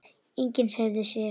Enginn hreyfði sig.